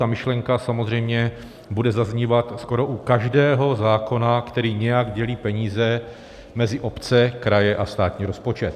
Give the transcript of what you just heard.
Ta myšlenka samozřejmě bude zaznívat skoro u každého zákona, který nějak dělí peníze mezi obce, kraje a státní rozpočet.